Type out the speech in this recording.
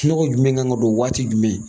jumɛn kan ka don waati jumɛn ?